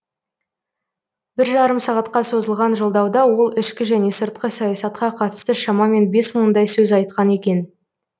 бір жарым сағатқа созылған жолдауда ол ішкі және сыртқы саясатқа қатысты шамамен бес мыңдай сөз айтқан екен